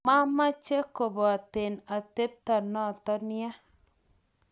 maameche kuboten atebto noto ya